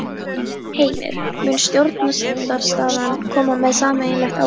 Heimir: Mun stjórnarandstaðan koma með sameiginlegt álit?